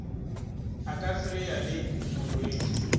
a ka fereya le morwedi